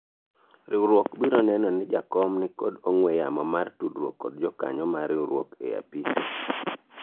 riwruok biro neno ni jakom nikod ong'we yamo mar tudruok kod jokanyo mar riwruok e apise